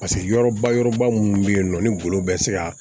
Paseke yɔrɔba yɔrɔba minnu bɛ yen nɔ ni golo bɛ se ka